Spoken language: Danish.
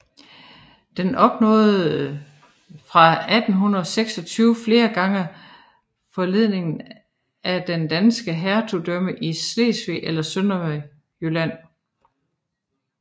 Den opnåede fra 1326 flere gange forleningen af den danske hertugdømme Slesvig eller Sønderjylland